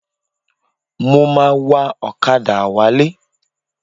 Mo ma wa ọ̀kadà wálé.